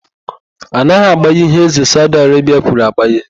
A naghị agbaya ihe ézē Saudi Arebia kwuru agbaya.